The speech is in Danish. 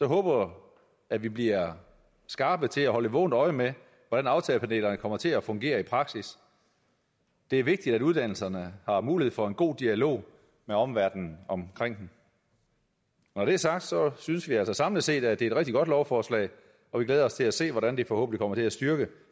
håber at vi bliver skarpe til at holde et vågent øje med hvordan aftagerpanelerne kommer til at fungere i praksis det er vigtigt at uddannelserne har mulighed for en god dialog med omverdenen omkring dem når det er sagt synes vi altså samlet set at det er et rigtig godt lovforslag og vi glæder os til at se hvordan det forhåbentlig kommer til at styrke